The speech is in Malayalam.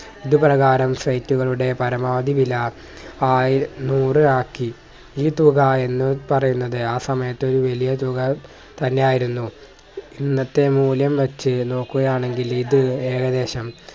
ഇത് പ്രകാരം site കളുടെ പരമാവധി വില ആയി നൂറ് ആക്കി ഈ തുക എന്ന് പറയുന്നത് ആ സമയത്തെ ഒരു വലിയ തുക തന്നെ ആയിരുന്നു ഇന്നത്തെ മൂല്യം വച്ചു നോക്കുകയാണെങ്കിൽ ഇത് ഏകദേശം